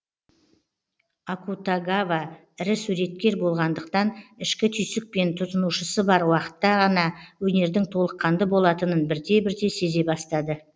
акутагава ірі суреткер болғандықтан ішкі түйсікпен тұтынушысы бар уақытта ғана өнердің толыққанды болатынын бірте бірте сезе бастады